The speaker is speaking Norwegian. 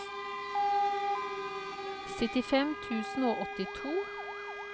syttifem tusen og åttito